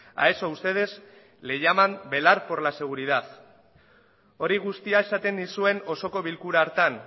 a eso ustedes le llaman velar por la seguridad hori guztia esaten nizuen osoko bilkura hartan